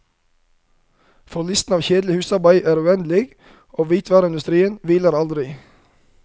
For listen av kjedelig husarbeid er uendelig, og hvitevareindustrien hviler aldri.